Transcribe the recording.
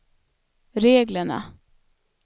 reglerna